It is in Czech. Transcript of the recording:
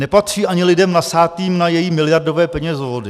Nepatří ani lidem nasátým na její miliardové penězovody.